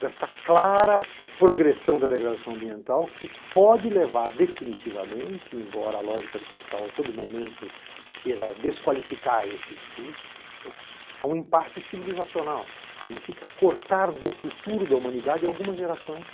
Desta clara progressão da degradação ambiental que pode levar definitivamente, embora a lógica do capital a todo momento queira desqualificar esse discurso, a um impasse civilizacional que significa cortar do futuro da humanidade algumas gerações